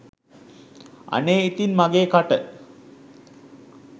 අනේ ඉතින් මගේ කට